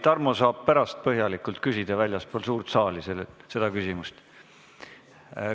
Tarmo saab pärast väljaspool suurt saali põhjalikult küsida.